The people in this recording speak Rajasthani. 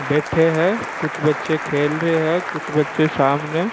बैठे है कुछ बच्चे खेल रे है कुछ बच्चे सामने --